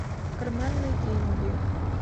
карманные деньги